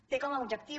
té com a objectiu